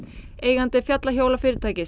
eigandi